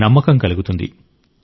నమ్మకం కలుగుతుంది